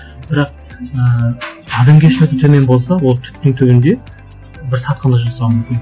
бірақ ііі адамгершілігі төмен болса ол түптің түбінде бір сатқындық жасауы мүмкін